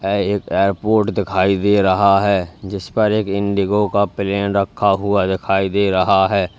ऐ एक एयरपोर्ट दिखाई दे रहा है जिस पर एक इंडिगो का प्लेन रखा हुआ दिखाई दे रहा है।